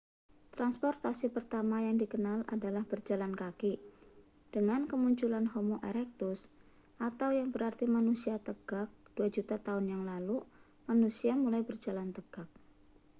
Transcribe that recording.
transportasi pertama yang dikenal adalah berjalan kaki. dengan kemunculan homo erectus yang berarti manusia tegak dua juta tahun yang lalu manusia mulai berjalan tegak